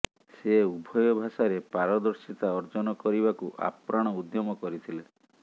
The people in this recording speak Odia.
ସେ ଉଭୟ ଭାଷାରେ ପାରଦର୍ଶୀତା ଅର୍ଜନ କରିବାକୁ ଆପ୍ରାଣ ଉଦ୍ୟମ କରିଥିଲେ